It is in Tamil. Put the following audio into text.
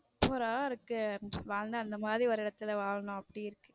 super ரா இருக்கு வாழ்ந்த அந்த மாதிரி ஒரு இடத்துல வாழனும் அப்படி இருக்கு.